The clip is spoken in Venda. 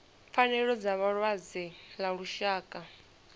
pfanelo dza vhalwadze ḽa lushaka